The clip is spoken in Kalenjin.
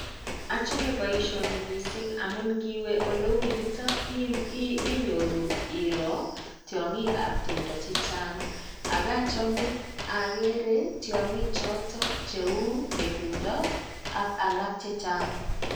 achame baishoni mising amuu ngiwee olee yutok enyoruu iro tyongik ab timdoo chechang, agachamee agere tyongik chotok che uu ngetundoo ak alak chechang